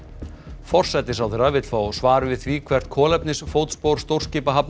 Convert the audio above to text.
forsætisráðherra vill fá svar við því hvert kolefnisfótspor stórskipahafnar